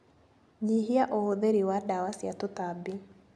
Nyihia ũhũthĩri wa ndawa cia tũtambi.